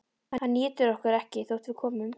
Hann étur okkur ekki þótt við komum.